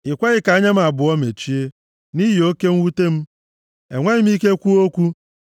I kweghị ka anya m abụọ mechie; nʼihi oke mwute m, enweghị m ike kwuo okwu.